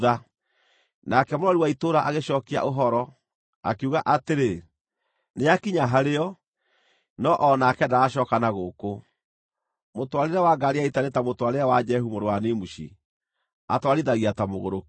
Nake mũrori wa itũũra agĩcookia ũhoro, akiuga atĩrĩ, “Nĩakinya harĩo, no-o nake ndaracooka na gũkũ. Mũtwarĩre wa ngaari ya ita nĩ ta mũtwarĩre wa Jehu mũrũ wa Nimushi; atwarithagia ta mũgũrũki.”